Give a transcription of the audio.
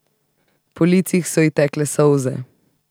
Po licih so ji tekle solze.